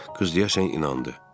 Qız deyəsən inandı.